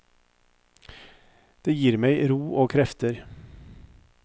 Det gir meg ro og krefter.